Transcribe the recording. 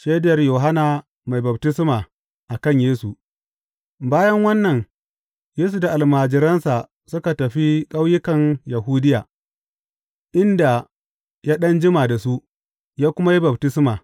Shaidar Yohanna Mai Baftisma a kan Yesu Bayan wannan, Yesu da almajiransa suka tafi ƙauyukan Yahudiya, inda ya ɗan jima da su, ya kuma yi baftisma.